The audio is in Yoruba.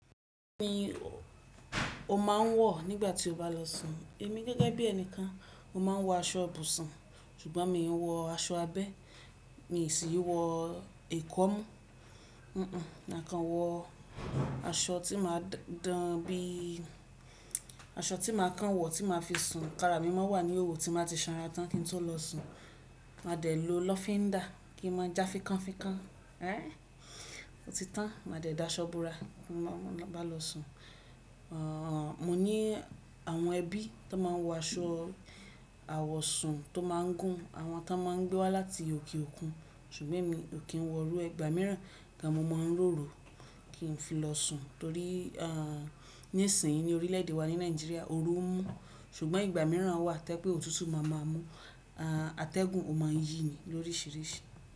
Bí i o máa ń wọ̀ nígbà tí o bá lọ sùn. Èmi gẹ́gẹ́ bí ẹnìkan, mo máa ń wọ aṣọ ibùsùn, ṣùgbọ́n mi ò ń wọ aṣọ abẹ́, mi sì ń wọ ẹ̀kọ́ mú. Kàn wọ aṣọ tí màá dán, bí i aṣọ tí màá kàn wọ̀ tí màá fi sùn. Nnkan ara mi máa wà ní ìhòòhò tí n bàá ti sanra tán kí n tó lọ sùn. Màá dẹ̀ lo lọ́fíndà kí n máa já fikánfikán. Ó ti tán, màá dẹ̀ da aṣọ bora n bá lọ sùn. Mo ní àwọn ẹbí tó máa ń wọ aṣọ àwọ̀sùn tó máa ń gùn, àwọn tó máa ń gbé wá láti òkè òkun, ṣùgbọ́n èmi ò kí ń wọ irú e igba mìíràn kí a mọ mọ́ ń ròrò kí n fi lọ sùn. Torí nísìnyí ní orílẹ̀ èdè wa ní Nàìjíríà oru ń mú, ṣùgbọ́n ìgbà mìíràn wà tí i je wipe òtútù máa má mú. Atẹ́gùn ò máa ń yí ni lóríṣiríṣi.